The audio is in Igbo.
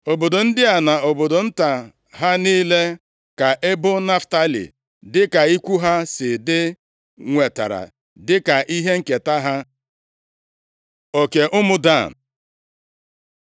Obodo ndị a na obodo nta ha niile ka ebo Naftalị dịka ikwu ha si dị, nwetara dịka ihe nketa ha. Oke ụmụ Dan